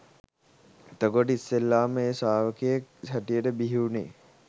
එතකොට ඉස්සෙල්ලාම ඒ ශ්‍රාවකයෙක් හැටියට බිහිවුනේ